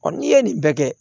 n'i ye nin bɛɛ kɛ